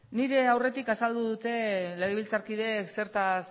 nire aurretik azaldu dute legebiltzarkideek zertaz